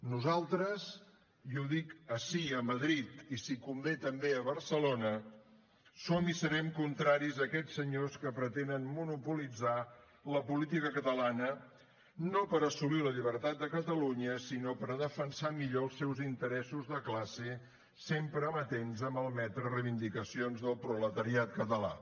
nosaltres i ho dic ací a madrid i si convé també a barcelona som i serem contraris a aquests senyors que pretenen monopolitzar la política catalana no per assolir la llibertat de catalunya sinó per defensar millor els seus interessos de classe sempre amatents a malmetre reivindicacions del proletariat català